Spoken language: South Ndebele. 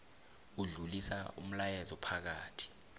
odlulisa umlayezo phakathi